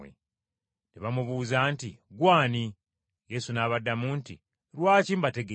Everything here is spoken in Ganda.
Ne bamubuuza nti, “Ggwe ani?” Yesu n’abaddamu nti, “ Lwaki mbategeeza?